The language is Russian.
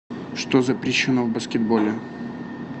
что запрещено в баскетболе